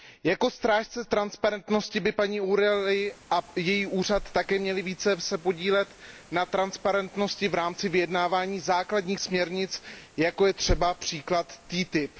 Jako strážci transparentnosti by se paní O´Reillyová a její úřad měli také více podílet na transparentnosti v rámci vyjednávání základních směrnic, jako je třeba příklad TTIP.